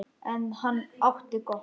En hann átti gott.